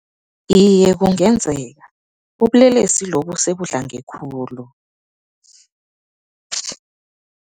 Iye, kungenzeka, ubulelesi lobu sebudlange khulu.